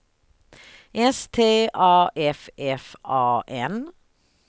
S T A F F A N